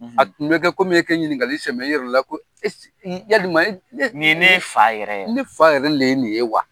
A tun bɛ kɛ komi i kɛ ɲininkali sɛmɛ i yɛrɛ la ko yalima ne ye ne fa yɛrɛ ye, ne fa yɛrɛ le ye nin ye wa?